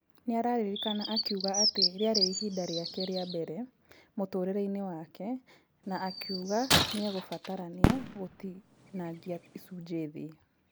Nĩararirikana akiuga atĩ rĩarĩ ihinda rĩake rĩambere mũtũrĩreinĩ wake na akĩuga nĩegũbatarania gũtinangia icunje thĩ .